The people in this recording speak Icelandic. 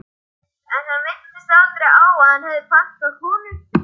En hann minntist aldrei á að hann hefði pantað konu.